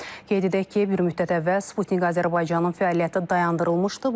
Qeyd edək ki, bir müddət əvvəl Sputnik Azərbaycanın fəaliyyəti dayandırılmışdı.